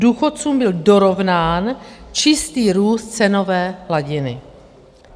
Důchodcům byl dorovnán čistý růst cenové hladiny.